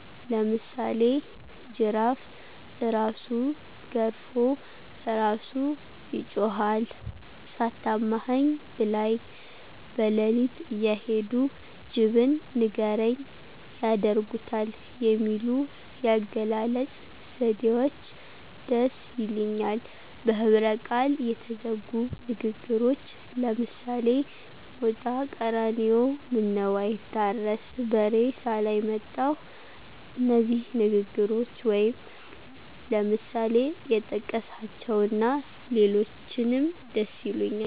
ለምሳሌ ጅራፍእራሱ ገርፎ እራሱ ይጮሀል፣ ሳታማኸኝ ብላይ። በለሊትእየሄዱ ጅብን ንገርኝ ያደርጉታል የሚሉ የአገላለጽ ዘዴዎች ደስ ይሊኛል። በህብረቃል የተዘጉ ንግግሮች ለምሳሌ ሞጣቀራኒዮ ምነዉአይታረስ በሬሳላይ መጣሁ እነዚህ ንግግሮች ወይም ለምሳሌ የጠቀስኀቸዉና ሌሎችንም ደስይሉኛል።